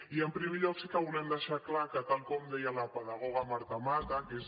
i en primer lloc sí que volem deixar clar que tal com deia la pedagoga marta mata que és